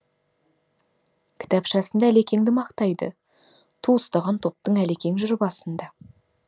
кітапшасында әлекеңді мақтайды ту ұстаған топтың әлекең жүр басында